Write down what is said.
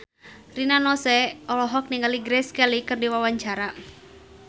Rina Nose olohok ningali Grace Kelly keur diwawancara